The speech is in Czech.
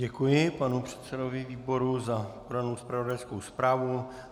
Děkuji panu předsedovi výboru za podanou zpravodajskou zprávu.